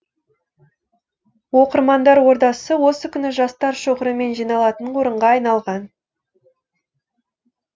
оқырмандар ордасы осы күні жастар шоғырымен жиналатын орынға айналған